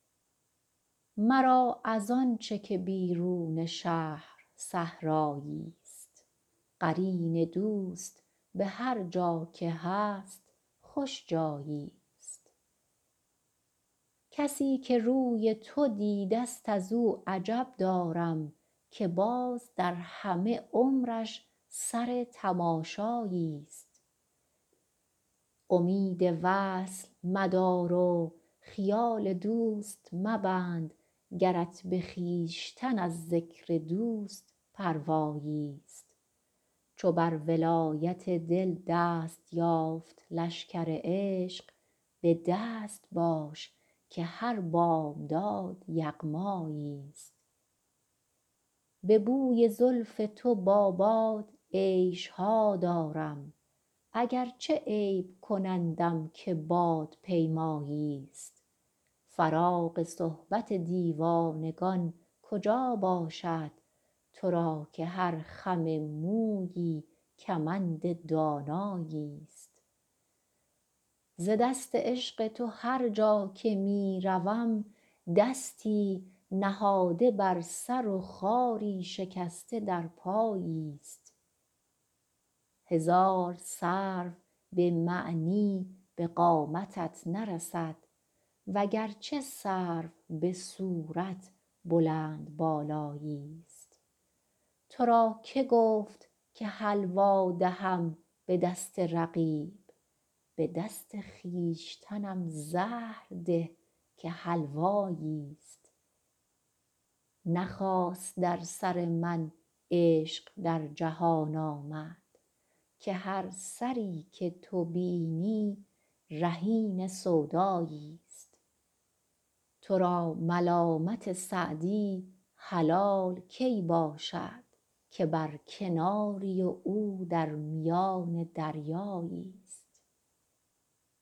مرا از آن چه که بیرون شهر صحرایی ست قرین دوست به هرجا که هست خوش جایی ست کسی که روی تو دیده ست از او عجب دارم که باز در همه عمرش سر تماشایی ست امید وصل مدار و خیال دوست مبند گرت به خویشتن از ذکر دوست پروایی ست چو بر ولایت دل دست یافت لشکر عشق به دست باش که هر بامداد یغمایی ست به بوی زلف تو با باد عیش ها دارم اگرچه عیب کنندم که بادپیمایی ست فراغ صحبت دیوانگان کجا باشد تو را که هر خم مویی کمند دانایی ست ز دست عشق تو هرجا که می روم دستی نهاده بر سر و خاری شکسته در پایی ست هزار سرو به معنی به قامتت نرسد وگرچه سرو به صورت بلندبالایی ست تو را که گفت که حلوا دهم به دست رقیب به دست خویشتنم زهر ده که حلوایی ست نه خاص در سر من عشق در جهان آمد که هر سری که تو بینی رهین سودایی ست تو را ملامت سعدی حلال کی باشد که بر کناری و او در میان دریایی ست